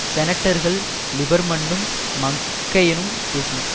செனட்டர்கள் லிபர்மன்னும் மக்கைனும் பேசினர்